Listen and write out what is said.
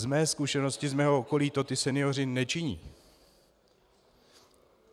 Z mé zkušenosti z mého okolí to ti senioři nečiní.